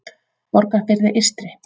Borgarfirði eystri